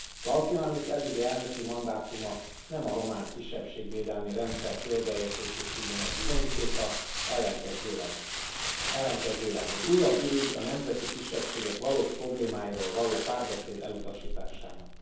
Klaus Johannis eddigi elnöki mandátuma nem a román kisebbségvédelmi rendszer példaértékűségének bizonyítéka, ellenkezőleg egy újabb ürügy a nemzeti kisebbségek valós problémáiról való párbeszéd elutasításának.